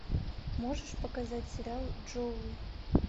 можешь показать сериал джоуи